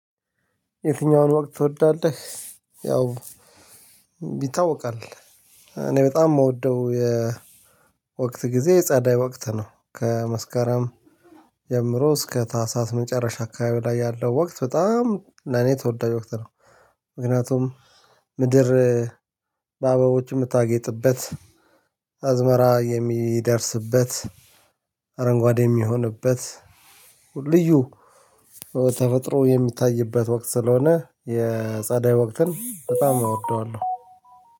የትኛውን ወቅት ትወዳለህ? ያው ይታወቃል እኔ በጣም የምወደው የወቅት ጊዜ ጸዳይ ወቅት ነው ከመስከረም ጀምሮ እስከ ታህሳስ መጨረሻ አካባቢ ላይ ያለው ወቅት በጣም ለኔ ተወዳጅ ወቅት ነው። ምክንያቱም ምድር በአበቦች የምታጌጥበት አዝመራ የሚደርስበት አረንጓዴ የሚሆንበት ልዩ ተፈጥሮ የሚታይበት ወቅት ስለሆነ የጸደይ ወቅትን በጣም አወደዋለሁ።